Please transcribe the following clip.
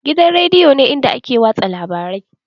Gidan rediyo ne inda ake watsa labarai.